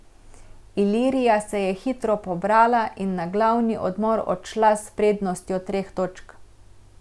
Ilirija se je hitro pobrala in na glavni odmor odšla s prednostjo treh točk.